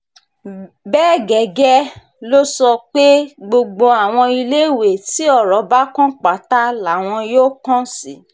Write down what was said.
bẹ́ẹ̀ gẹ́gẹ́ ló sọ pé gbogbo àwọn iléèwé tí ọ̀rọ̀ bá kàn pátá làwọn yóò kàn sí